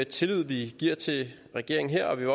tillid vi giver til regeringen her og vi